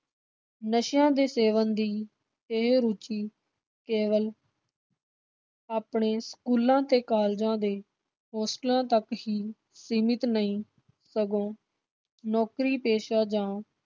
ਨਸ਼ਿਆਂ ਦੇ ਸੇਵਨ ਦੀ ਇਹ ਰੁਚੀ ਕੇਵਲ ਆਪਣੇ ਸਕੂਲਾਂ ਤੇ ਕਾਲਜਾਂ ਦੇ ਹੋਸਟਲਾਂ ਤੱਕ ਹੀ ਸੀਮਤ ਨਹੀ ਸਗੋਂ ਨੌਕਰੀ ਪੇਸ਼ਾ ਜਾਂ